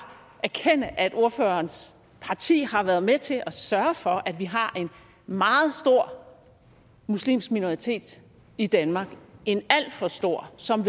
erkende at ordførerens parti har været med til at sørge for at vi har en meget stor muslimsk minoritet i danmark en alt for stor som